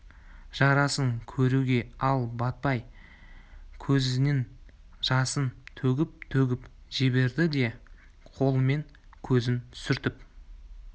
жарасын көруге ол батпай көзінің жасын төгіп-төгіп жіберді де қолымен көзін сүртіп